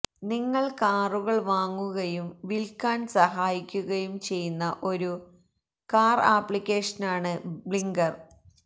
നിങ്ങൾ കാറുകൾ വാങ്ങുകയും വിൽക്കാൻ സഹായിക്കുകയും ചെയ്യുന്ന ഒരു കാർ ആപ്ലിക്കേഷനാണ് ബ്ലിങ്കർ